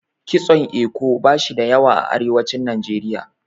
Kitson Eko bashi da yawa a arewacin Najeriya.